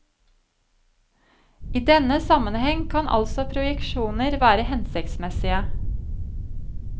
I denne sammenheng kan altså projeksjoner være hensiktsmessige.